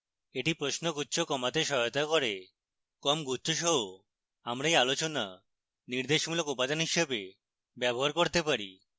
এটি প্রশ্নগুচ্ছ কমাতে সাহায্য করবে কম গুচ্ছ সহ আমরা এই আলোচনা নির্দেশমূলক উপাদান হিসাবে ব্যবহার করতে পারি